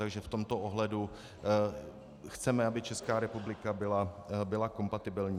Takže v tomto ohledu chceme, aby Česká republika byla kompatibilní.